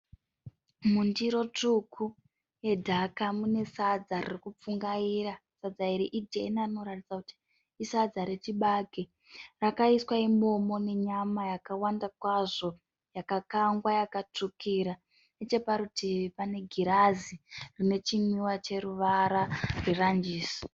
Mundiro tsvuku yedhaka mune sadza riri kupfungaira. Sadza iri ijena rinoratidza kuti isadza rechibage. Rakaiswa imomo nenyama yakawanda kwazvo yakakangwa yakatsvukira. Neche parutivi pane girazi rine chinwiwa cheruvara rweranjisi.